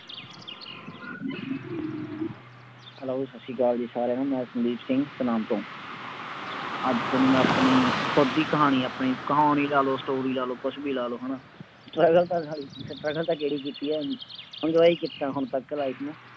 Hello ਸਤਿ ਸ੍ਰੀ ਅਕਾਲ ਜੀ ਸਾਰਿਆਂ ਨੂੰ ਮੈਂ ਸੰਦੀਪ ਸਿੰਘ ਸਨਾਮ ਤੋਂ ਅੱਜ ਤੁਹਾਨੂੰ ਮੈਂ ਆਪਣੀ ਖੁੱਦ ਦੀ ਕਹਾਣੀ ਆਪਣੀ ਕਹਾਣੀ ਲਾ ਲਓ story ਲਾ ਲਓ ਕੁਛ ਵੀ ਲਾ ਲਓ ਹਨਾ struggle ਤਾਂ struggle ਤਾਂ ਕਿਹੜੀ ਕੀਤੀ ਹੈ enjoy ਕੀਤਾ ਹੁਣ ਤੱਕ life ਨੂੰ